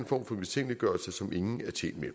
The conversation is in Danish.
form for mistænkeliggørelse som ingen er tjent med